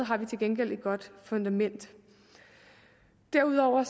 har vi til gengæld et godt fundament derudover